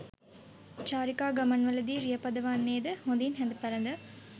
චාරිකා ගමන්වලදී රිය පදවන්නේ ද හොඳින් හැඳ පැළඳ